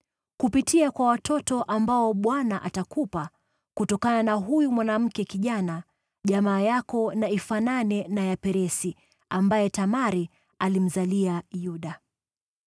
Kupitia kwa watoto ambao Bwana atakupa kutokana na huyu mwanamwali, jamaa yako na ifanane na ya Peresi, ambaye Tamari alimzalia Yuda.”